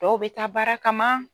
Dɔw bɛ taa baara kama.